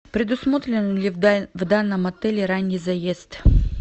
предусмотрен ли в данном отеле ранний заезд